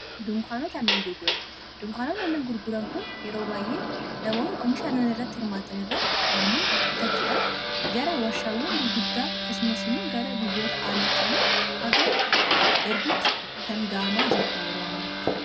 nnnan gurguran dunkaanota annan gurguran kun yeroo baay'ee namoota omsha annan irratti hirmaatan irraa annan bitachuudhaan gara washaawwan gurguddaa kasumas immoo gara biyyoota aalaatti illee haga ergutti kan gaamaa jiru yeroo ammaatti